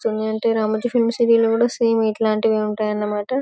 Ramoji film city లో కూడా same ఇట్లాంటివి ఉంటాయన్నమాట --